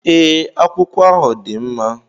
Ee, akwụkwọ ahụ dị mma